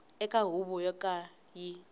eka huvo yo ka yi